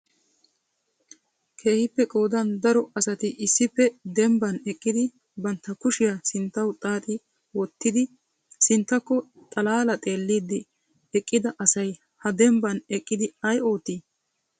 Keehippe qoodan daro asati issippe dembban eqqidi bantta kushiyaa sinttaw xaaxxi wottidi sinttakko xalaala xeellidi eqqida asay ha dembban eqqidi ay oottii?